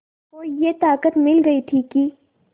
को ये ताक़त मिल गई थी कि